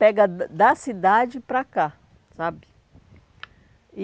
Pega da cidade para cá, sabe? E